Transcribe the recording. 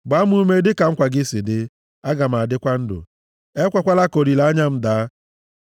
Gbaa m ume dịka nkwa gị si dị, aga m adịkwa ndụ; ekwekwala ka olileanya m daa.